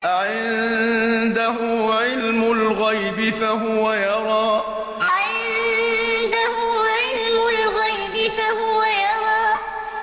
أَعِندَهُ عِلْمُ الْغَيْبِ فَهُوَ يَرَىٰ أَعِندَهُ عِلْمُ الْغَيْبِ فَهُوَ يَرَىٰ